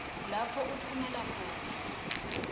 lapho utfumela khona